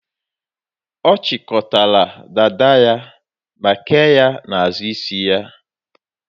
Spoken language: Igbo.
Ọ chịkọlatara dada ya ma kee ya n'azụ isi ya.